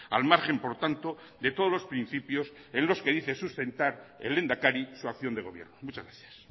al margen por tanto de todos los principios en los que dice sustentar el lehendakari su acción de gobierno muchas gracias